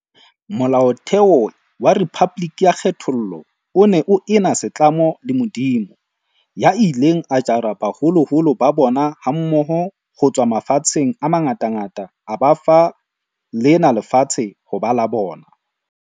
Molaotheo wa rephaboliki ya kgethollo o ne o ena setlamo le Modimo, "ya ileng a jara baholoholo ba bona mmoho ho tswa mafatsheng a mangatangata a ba fa lena lefatshe ho ba la bona".